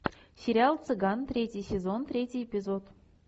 сериал цыган третий сезон третий эпизод